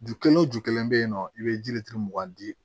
Ju kelen o ju kelen be yen nɔ i be ji le turu mugan di